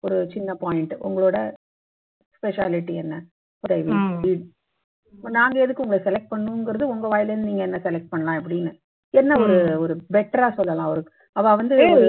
ஒரு சின்ன point உங்களோட specialty என்ன இப்ப நாங்க எதுக்கு உங்களை select பண்ணனுங்கிறது உங்க வாயில இருந்து நீங்க என்னை select பண்ணலாம் அப்படின்னு என்ன ஒரு ஒரு better ஆ சொல்லலாம் ஒரு அவா வந்து